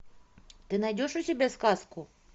ты найдешь у себя сказку